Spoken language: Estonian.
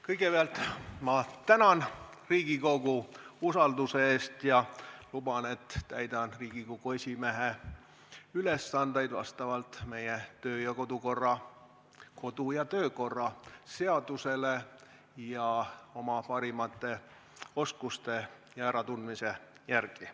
Kõigepealt tänan ma Riigikogu usalduse eest ja luban, et täidan Riigikogu esimehe ülesandeid vastavalt meie kodu- ja töökorra seadusele ning oma parimate oskuste ja äratundmise järgi.